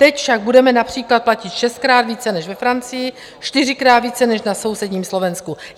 Teď však budeme například platit šestkrát více než ve Francii, čtyřikrát více než na sousedním Slovensku.